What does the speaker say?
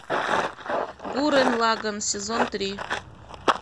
гуррен лаганн сезон три